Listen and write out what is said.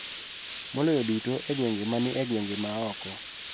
Maloyo duto e gwenge ma ni e gwenge ma oko.